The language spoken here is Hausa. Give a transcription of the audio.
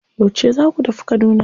Yauce za ku tafi Kaduna?